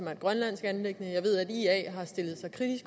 er et grønlandsk anliggende